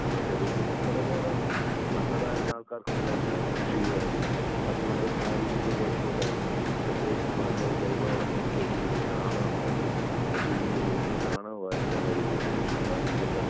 നമ്മുടെ ശരീരത്തിന് ഒരപകടവും ഇല്ല. പണ്ട് അതായിരുന്നു ആൾക്കാർക്ക് എല്ലാവരും കൃഷി ചെയ്തായിരുന്നു അതുകൊണ്ട് ആ രീതിക്ക് ഒരു കുഴപ്പവുമില്ലായിരുന്നു. പ്രത്യേകിച്ച് മണ്ണ്, ജൈവവളം എന്ന് ഉദ്ദേശിക്കുന്നത് ചാണകമായിരുന്നു. പക്ഷെ ഇന്ന് ലഭിക്കുന്ന ചാണകമായിരുന്നില്ല എല്ലാരും ഉപയോഗിച്ചിരുന്നെ പക്ഷെ ഇപ്പൊ ആ രീതിയെല്ലാം